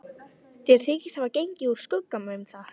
Þeir þykjast hafa gengið úr skugga um það.